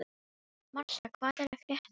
Marsa, hvað er að frétta?